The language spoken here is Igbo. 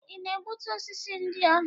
Ị na-egbutu osisi ndị ahụ?